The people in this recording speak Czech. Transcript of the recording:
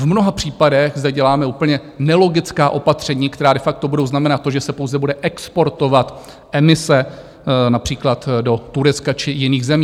V mnoha případech zde děláme úplně nelogická opatření, která de facto budou znamenat to, že se pouze bude exportovat emise například do Turecka či jiných zemí.